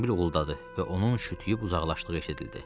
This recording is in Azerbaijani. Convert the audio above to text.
Avtomobil uğuldadı və onun şütüüb uzaqlaşdığı eşidildi.